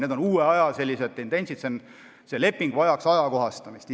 Need on uued tendentsid, see leping vajaks ajakohastamist.